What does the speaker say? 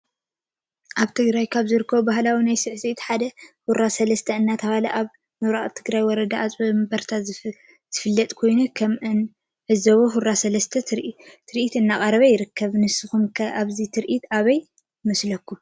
አብ ትግራይ ካብ ዝርከቡ ባህልታት ናይ ስዕሲዒት ሓደ ሁራ ሰለስተ እናተባህለ አብ ምብራቅ ትግራይ ወረዳ አፂቢወንበረታ ዝፍለጥ ኮይኑ ከም እንዕዞቦ ሁራ ሰለስተ ትርኢት እናቅረቡ ይርከቡ። ንስኩም ከ አዚ ትርኢት አበይ ይመስለኩም ?